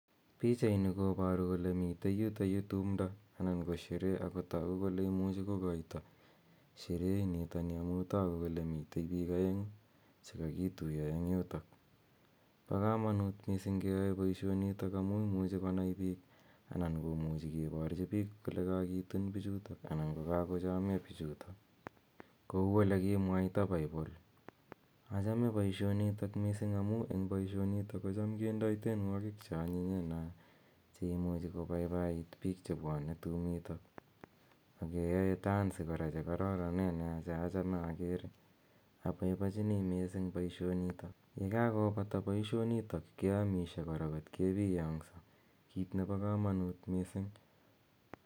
Pichaini koboru kole mitei yutoyu tumdo anan ko sherehe ako toku kole imuchi ko koito sherehe initoni amu toku kole mitei piik aengu che kakituiyo eng yutok. Bo kamanut mising keyoi boisionitok amu imuchi konai piik anan komuchi kiborchi piik kole kakitun pichuto anan ko kakochomyo pichuto, kou ole kimwaita Bible. Achame boisionitok mising amu eng boisionitok kocham kendoi tienwokik che anyinyen nea, cheimuchi kobaibait piik che bwone tumito, ake yoe dansi kora che kororonen nea che achame akere, abaibochini mising boisionitok. Ye kakobata boisionitok keamisie kora kot kebiongso, kit nebo kamanut mising.